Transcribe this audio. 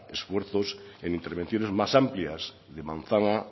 esfuerzos en intervenciones más amplias de manzana